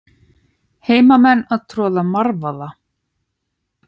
Hermenn að troða marvaða.